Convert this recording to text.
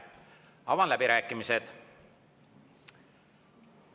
Avan läbirääkimised.